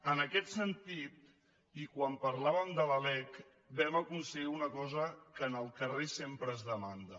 en aquest sentit i quan parlàvem de la lec vam aconseguir una cosa que al carrer sempre es demana